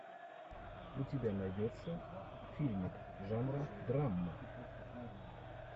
у тебя найдется фильмик жанра драма